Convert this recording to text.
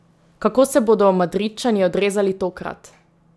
Kako se bodo Madridčani odrezali tokrat?